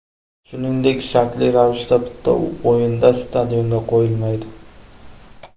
Shuningdek, shartli ravishda bitta o‘yinda stadionga qo‘yilmaydi.